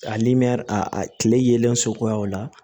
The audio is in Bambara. A nimɛri a tile yelen sokoyaw la